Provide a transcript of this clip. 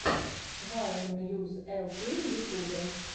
вайн мьюз эл кей в ютубе